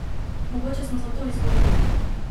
Mogoče smo zato izgubili!